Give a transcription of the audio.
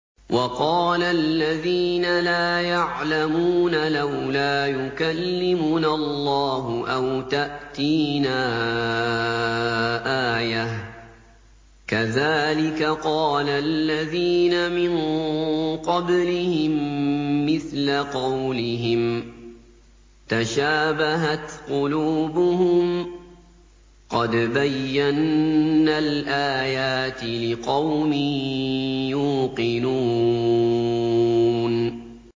وَقَالَ الَّذِينَ لَا يَعْلَمُونَ لَوْلَا يُكَلِّمُنَا اللَّهُ أَوْ تَأْتِينَا آيَةٌ ۗ كَذَٰلِكَ قَالَ الَّذِينَ مِن قَبْلِهِم مِّثْلَ قَوْلِهِمْ ۘ تَشَابَهَتْ قُلُوبُهُمْ ۗ قَدْ بَيَّنَّا الْآيَاتِ لِقَوْمٍ يُوقِنُونَ